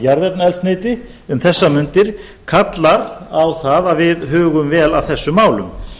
jarðefnaeldsneyti um þessar mundir kallar á það að við hugum vel að þessum málum